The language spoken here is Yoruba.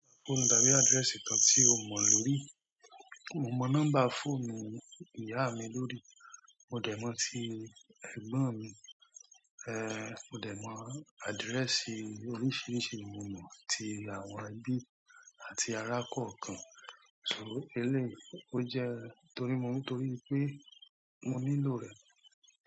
Fóònù tàbí address kan tí o mọ lórí. Mo mọ number fóònù ìyá mi lórí, mo dẹ̀ mọ̀ ti ẹ̀gbọ́n mi, eh, mo dẹ̀ mọ̀ address oríṣiríṣi, mo mọ̀ ti àwọn ẹbí àti arákò ọ̀kan. So eléyìí ó jẹ́ torí mo mọ̀ torí pé mo nílò rẹ̀.